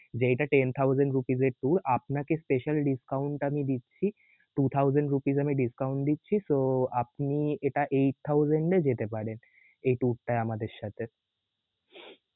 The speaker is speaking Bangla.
জি এইটা Ten Thousand Rupees এর tour আপনাকে special discount আমি দিচ্ছি, Two thousand Rupees আমি discount দিচ্ছি তো আপনি এটা eight thousand এ যেতে পারেন এই tour টায় আমাদের সাথে.